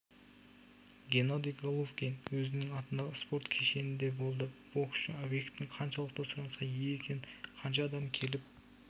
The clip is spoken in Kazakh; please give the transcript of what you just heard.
геннадий головкин өзінің атындағы спорт кешенінде болды боксшы объектің қаншалықты сұранысқа ие екенін қанша адам келіп